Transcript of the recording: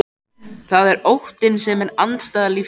Það er óttinn sem er andstæða lífsins.